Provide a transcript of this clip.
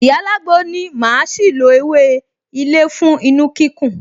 Ìyá alágbo ní màá ṣì lo ewé ilé fún inu-kíkún